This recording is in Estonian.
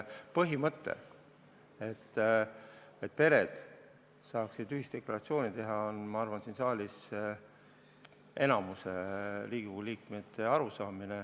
Põhimõte, et pered võiksid saada ühisdeklaratsiooni teha, on, ma arvan, siin saalis enamiku Riigikogu liikmete arusaam.